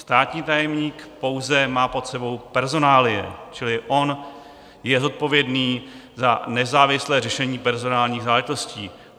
Státní tajemník pouze má pod sebou personálie, čili on je zodpovědný za nezávislé řešení personálních záležitostí.